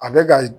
A bɛ ka